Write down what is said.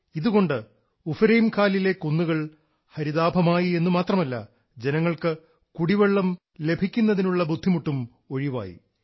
ഇതുകൊണ്ട് ഉഫരൈംഖാലിലെ കുന്നുകൾ ഹരിതാഭമായി എന്നുമാത്രമല്ല ജനങ്ങൾ കുടിവെള്ളം ലഭിക്കുന്നതിനുള്ള ബുദ്ധിമുട്ടും ഒഴിവായി